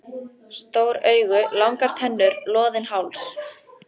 Stór augu, langar tennur, loðinn háls.